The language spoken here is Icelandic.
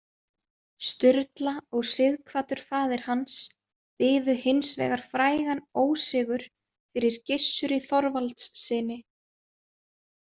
Sturla og Sighvatur faðir hans biðu hins vegar frægan ósigur fyrir Gissuri Þorvaldssyni.